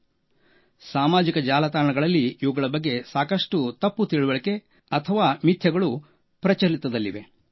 ಹೌದು ಸಾಮಾಜಿಕ ಜಾಲತಾಣಗಳಲ್ಲಿ ಇವುಗಳ ಬಗ್ಗೆ ಸಾಕಷ್ಟು ತಪ್ಪು ತಿಳಿವಳಿಕೆ ಅಥವಾ ಮಿಥ್ಯಗಳು ಪ್ರಚಲಿತದಲ್ಲಿವೆ